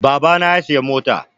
Baba na ya siyi mota